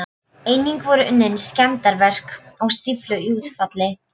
Einnig voru unnin skemmdarverk á stíflu í útfalli